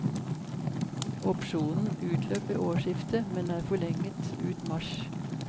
Opsjonen utløp ved årsskiftet, men er forlenget ut mars.